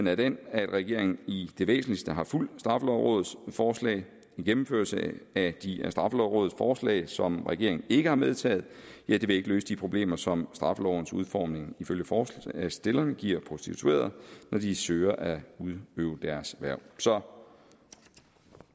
er den at regeringen i det væsentligste har fulgt straffelovrådets forslag en gennemførelse af de af straffelovrådets forslag som regeringen ikke har medtaget vil ikke løse de problemer som straffelovens udformning ifølge forslagsstillerne giver prostituerede når de søger at udøve deres erhverv